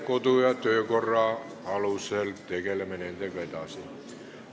Kodu- ja töökorra alusel tegeleme nendega edasi.